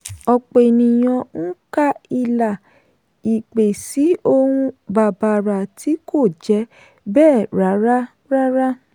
ọ̀pọ̀ ènìyàn ń ka ìlà ìpè sí ohun bàbàrà tí kò jẹ́ bẹ́ẹ̀ rárá. rárá.